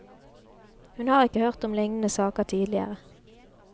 Hun har ikke hørt om lignende saker tidligere.